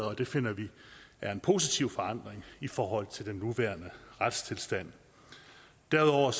og det finder vi er en positiv forandring i forhold til den nuværende retstilstand derudover